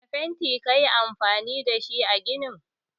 Wanne fanti kayi amfani dashi a ginin.